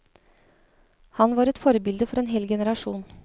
Han var et forbilde for en hel generasjon.